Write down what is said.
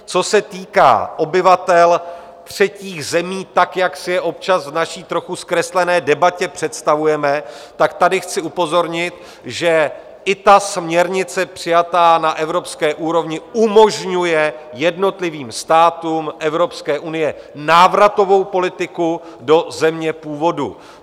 Co se týká obyvatel třetích zemí, tak jak si je občas v naší trochu zkreslené debatě představujeme, tak tady chci upozornit, že i ta směrnice přijatá na evropské úrovni umožňuje jednotlivým státům Evropské unie návratovou politiku do země původu.